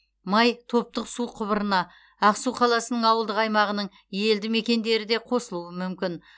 май топтық су құбырына ақсу қаласының ауылдық аймағының елді мекендері де қосылуы мүмкін